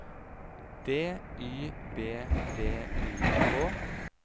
D Y B V I K